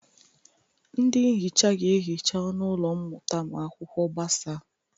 Ndị nhicha ga-ehicha ọnụ ụlọ mmụta ma akwụkwọ gbasa.